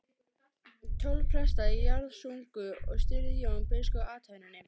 Tólf prestar jarðsungu og stýrði Jón biskup athöfninni.